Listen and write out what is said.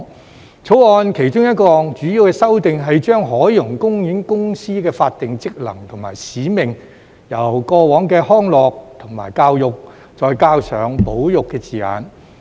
《條例草案》其中一項主要修訂是將海洋公園公司的法定職能和使命，由過往的"康樂"及"教育"，再加上"保育"的字眼。